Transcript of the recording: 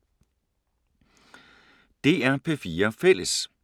DR P4 Fælles